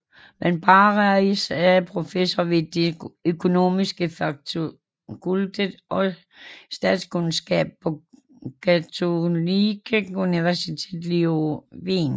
Van Parijs er professor ved det økonomiske fakultet og Statskundskab på Katholieke Universiteit Leuven